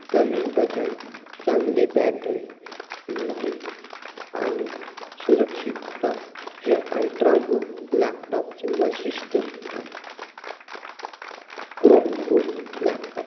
कमी वजन चांगलं battery light आणि सुरक्षितता हे altra book च वैशिष्ट्य आहे. chrome book laptop